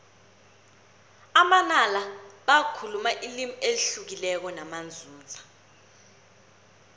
amanala bakhuluma ilimi elihlukileko namanzunza